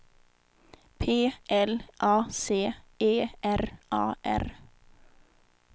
P L A C E R A R